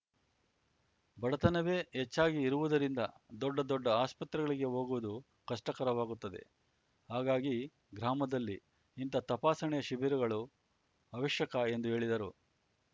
ಬಡತನವೇ ಹೆಚ್ಚಾಗಿ ಇರುವುದರಿಂದ ದೊಡ್ಡ ದೊಡ್ಡ ಆಸ್ಪತ್ರೆಗಳಿಗೆ ಹೋಗುವುದು ಕಷ್ಟಕರವಾಗುತ್ತದೆ ಹಾಗಾಗಿ ಗ್ರಾಮದಲ್ಲಿ ಇಂತಹ ತಪಾಸಣೆಯ ಶಿಬಿರಗಳು ಅವಶ್ಯಕ ಎಂದು ಹೇಳಿದರು